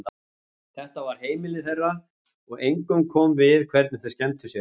Þetta var heimilið þeirra og engum kom við hvernig þau skemmtu sér.